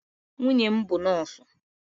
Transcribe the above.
Nwunye m bụ nọọsụ.